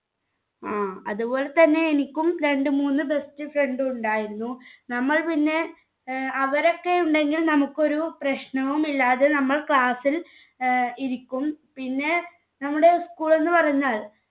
ങ്ഹാ. അതുപോലെതന്നെ എനിക്കും രണ്ട് മൂന്ന് best friend ഉണ്ടായിരുന്നു. നമ്മൾ പിന്നെ അവരൊക്കെ ഉണ്ടെങ്കിൽ നമുക്ക് ഒരു പ്രശ്നവുമില്ലാതെ നമ്മൾ class ൽ ഇരിക്കും. പിന്നെ നമ്മുടെ school ന്നു പറഞ്ഞാൽ